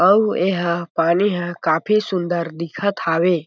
अउ ए हा पानी ह काफी सुंदर दिखत हावे।